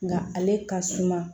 Nga ale ka suma